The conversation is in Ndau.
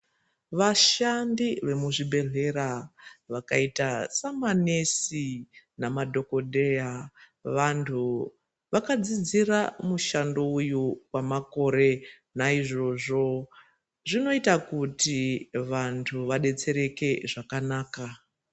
Vashandi vemuzvibhedhlera vakaita samanesi namadhokodheya vantu vaadzidzira mushando uyu kwamakore naizvozvo zvinoita kuti vantu vadetsereke zvakanaka.